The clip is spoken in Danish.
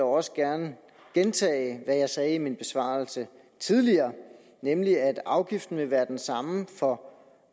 også gerne gentage hvad jeg sagde i min besvarelse tidligere nemlig at afgiften vil være den samme for